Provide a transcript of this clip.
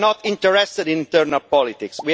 We are not interested in internal politics.